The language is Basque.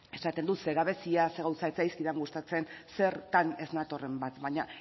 esaten dut ze gabezia ze gauza ez zaizkit gustatzen zertan ez natorren bat baina